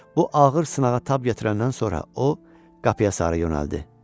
Bu ağır sınağa tab gətirəndən sonra o qapıya sarı yönəldi.